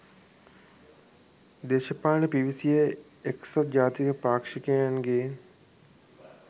දේශපාලනයට පිවිසියේ එක්සත් ජාතික පාක්ෂිකයන්ගේ